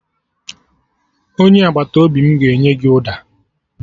Onye agbata obi m ga-enye gị ụda